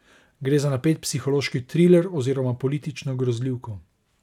Gre za napet psihološki triler oziroma politično grozljivko.